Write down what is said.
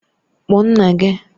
Kpọọ nna gị!